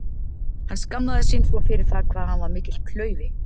Hann skammaðist sín svo fyrir það hvað hann var mikill klaufi.